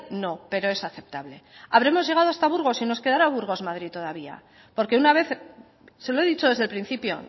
no pero es aceptable habremos llegado hasta burgos y nos quedará burgos madrid todavía porque una vez se lo he dicho desde el principio